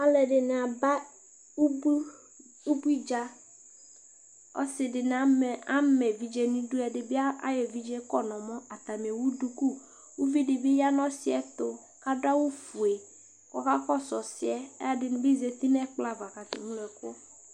ɔlɔdɩnɩ aba ʊbuɩ dja ama evɩdje nʊ ɩdʊ ʊvɩ dɩbɩ yanʊ ɔsiɛ tʊ ɔka kɔsʊ ɔsɩɛ